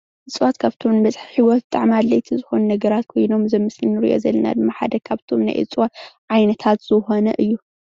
እፅዋት ካብቶም መስሕብ ሂወት ብጣዕሚ ኣድለይቲ ዝኮኑ ነገራት ኮይኖም እዚ ኣብ ምስሊ እንሪኦ ዘለና ድማ ሓደ ካብቶም ናይ እፅዋት ዓይነታት ዝኮነ እዩ፡፡